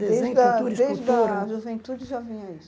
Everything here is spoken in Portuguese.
Desde a desde a juventude já vinha isso.